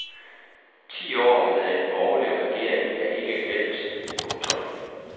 Ti år med en borgerlig regering er ikke glemt. punktum